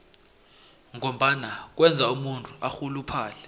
ngombana kwenza umuntu arhuluphale